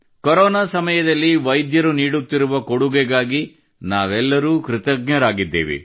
corona ಸಮಯದಲ್ಲಿ ವೈದ್ಯರು ನೀಡಿದ ಕೊಡುಗೆಗಾಗಿ ನಾವೆಲ್ಲರೂ ಕೃತಜ್ಞರಾಗಿದ್ದೇವೆ